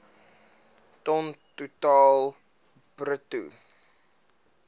ton totaal bruto